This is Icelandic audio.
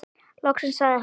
Loksins sagði hann.